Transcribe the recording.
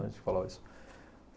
Antes de falar isso.